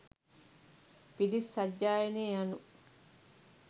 පිරිත් සජ්ඣායනය යනු